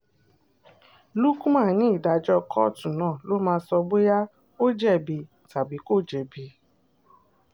uckman ní ìdájọ́ kóòtù náà ló máa sọ bóyá ó jẹ̀bi tàbí kò jẹ̀bi